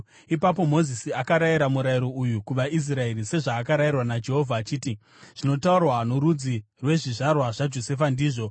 Ipapo Mozisi akarayira murayiro uyu kuvaIsraeri sezvaakarayirwa naJehovha achiti, “Zvinotaurwa norudzi rwezvizvarwa zvaJosefa ndizvozvo.